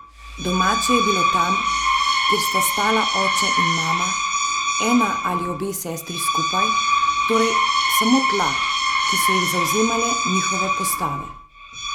Domače je bilo tam, kjer sta stala oče in mama, ena ali obe sestri skupaj, torej samo tla, ki so jih zavzemale njihove postave.